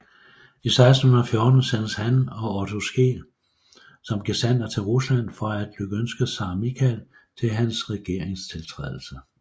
I 1614 sendtes han og Otte Skeel som gesandter til Rusland for at lykønske Zar Michael til hans regeringstiltrædelse